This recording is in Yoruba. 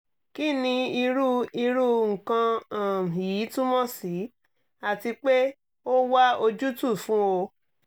kí ni irú irú nǹkan um yìí túmọ̀ sí àti pé ó wá ojútùú fún o